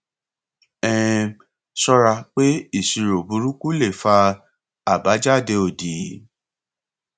um ṣọra pé ìṣirò burúkú lè fà abajade odi